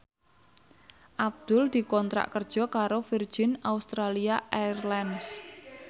Abdul dikontrak kerja karo Virgin Australia Airlines